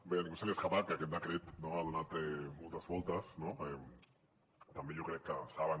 bé a ningú se li escapa que aquest decret ha donat moltes voltes no també jo crec que saben